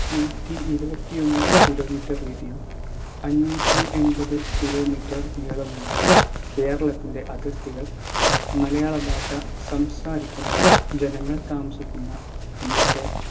നൂറ്റിഇരുവത്തി ഒന്ന് kilometre വീതിയും അംന്നൂറ്റി എമ്പത് kilometre നീളമുള്ള കേരളത്തിന്റെ അതിർത്തികൾ മലയാള ഭാഷ സംസാരിക്കുന്ന ജനങ്ങൾ താമസിക്കുന്ന ‌ഇന്നത്തെ